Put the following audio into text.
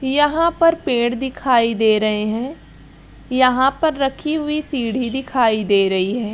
यहाँ पर पेड़ भी दिखाई दे रहे है यहाँ पर रखी हुई सीढ़ी दिखाई दे रही है।